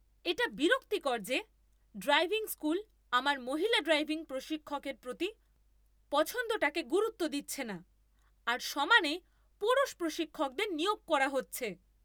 এটা বিরক্তিকর যে ড্রাইভিং স্কুল আমার মহিলা ড্রাইভিং প্রশিক্ষকের প্রতি পছন্দটাকে গুরুত্ব দিচ্ছে না, আর সমানে পুরুষ প্রশিক্ষকদের নিয়োগ করা হচ্ছে।